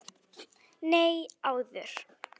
Nei, áður.